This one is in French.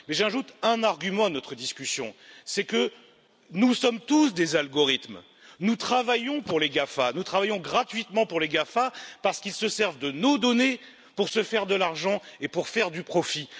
J'ajoute un argument à notre discussion, c'est que nous sommes tous des algorithmes, nous travaillons pour les GAFA, nous travaillons gratuitement pour les GAFA parce qu'ils se servent de nos données pour se faire de l'argent et pour faire du profit.